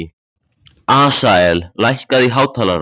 Asael, lækkaðu í hátalaranum.